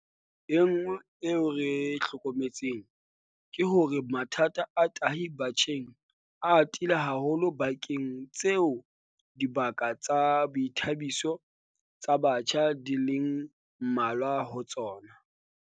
E nngwe ntho eo re e hlokometseng ke hore mathata a tahi batjheng a atile haholo dibakeng tseo dibaka tsa boithabiso tsa batjha di leng mmalwa ho tsona.